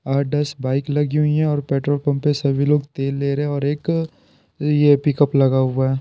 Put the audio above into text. आठ बाइक लगी हुई है और पेट्रोल पंप पे सभी लोग तेल ले रहे हैं और एक ये पिकअप लगा हुआ है।